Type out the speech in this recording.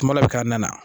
Kuma dɔ bɛ k'an na